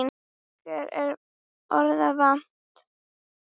Okkur er orða vant.